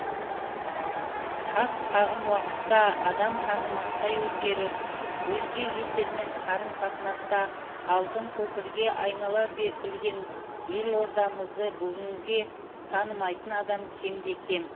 қас қағым уақытта адам танымастай өзгеріп өзге елдермен қарым қатынаста алтын көпірге айнала білген елордамызды бүгінде танымайтын адам кемде кем